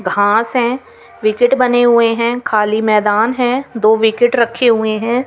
घास है विकेट बने हुए है खाली मैदान है दो विकेट रखे हुए है।